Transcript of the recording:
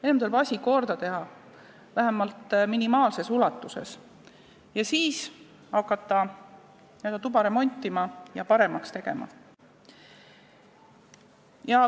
Enne tuleb asi korda teha, vähemalt minimaalses ulatuses, ja siis hakata tuba remontima ja seda paremaks tegema.